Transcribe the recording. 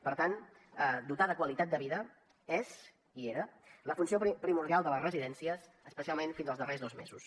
per tant dotar de qualitat de vida és i era la funció primordial de les residències especialment fins als darrers dos mesos